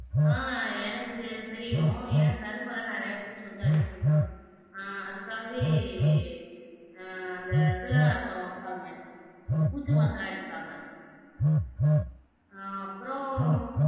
ஆஹ் எனக்கு தெரியும் ஏன்னா நெறைய பூச்சி வந்து அரிக்குன்ரோம் ஆஹ் அதுக்காகவே ஆஹ் அந்த இதுல வெப்பாங்க பூச்சி மருந்தெல்லாம் அடிபாங்க ஆஹ் அப்புறம்